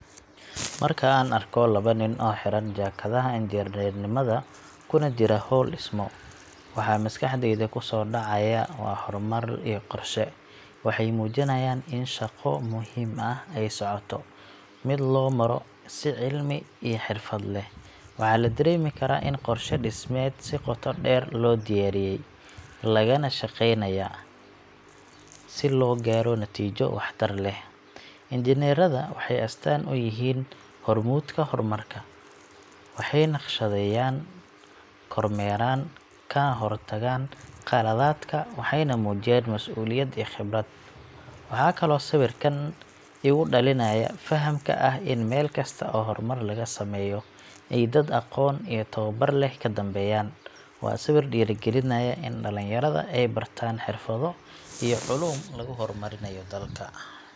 Marka aan arko labo nin oo xiran jaakadaha injineernimada kuna jira hawl dhismo, waxa maskaxdayda kusoo dhacaya waa horumar iyo qorshe. Waxay muujinayaan in shaqo muhiim ah ay socoto mid loo maro si cilmi iyo xirfad leh. Waxaa la dareemi karaa in qorshe dhismeed si qoto dheer loo diyaariyay, lagana shaqeynayo si loo gaaro natiijo waxtar leh. Injineerrada waxay astaan u yihiin hormuudka horumarka: waxay naqshadeeyaan, kormeeraan, kana hortagaan qaladaadka suuragalka ah. Dharkooda gaarka ah iyo qalabka ay wataan waxay muujinayaan mas’uuliyad iyo khibrad. Waxa kaloo sawirkan igu dhalinaya fahamka ah in meel kasta oo horumar laga sameeyo, ay dad aqoon iyo tababar leh ka dambeeyaan. Waa sawir dhiirrigelinaya in dhalinyarada ay bartaan xirfado iyo culuum lagu horumarinayo dalka.